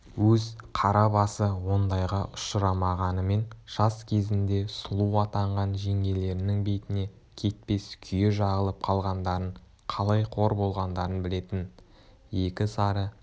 өз қара басы ондайға ұшырамағанымен жас кезінде сұлу атанған жеңгелерінің бетіне кетпес күйе жағылып қалғандарың қалай қор болғандарын білетін екі сары